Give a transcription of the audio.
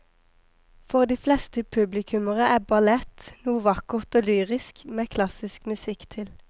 For de fleste publikummere er ballett noe vakkert og lyrisk med klassisk musikk til.